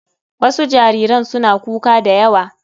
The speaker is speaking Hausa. Wasu jariran suna kuka da yawa.